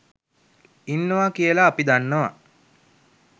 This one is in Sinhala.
ඉන්නවා කියලා අපි දන්නවා